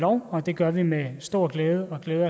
og det gør vi med stor glæde og vi